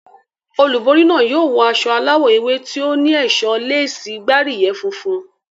Olúborí náà yóò wọ aṣọ aláwọ̀ ewé tí ó ní ẹ̀ṣọ́ léèsì gbáríyẹ̀ funfun.